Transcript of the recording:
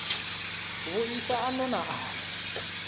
vhuisa a no na aḽa